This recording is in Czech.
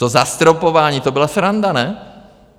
To zastropování, to byla sranda, ne?